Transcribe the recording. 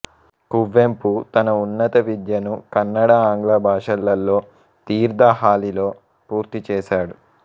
కువెంపు తన ఉన్నత విద్యను కన్నడ ఆంగ్ల భాషలలో తీర్థహళ్లిలో పూర్తిచేసాడు